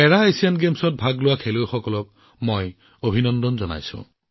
পেৰা Asian গেমছত অংশগ্ৰহণ কৰা সকলো খেলুৱৈকে অভিনন্দন জনাইছো